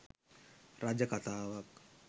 රජ කතාවක්